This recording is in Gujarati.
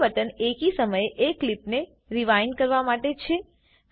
ત્રીજું બટન એકી સમયે એક ક્લીપને રીવાઇન્ડ કરવા માટે છે